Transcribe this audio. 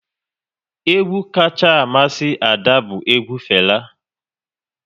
Egwu kacha amasị Ada bụ egwu Fela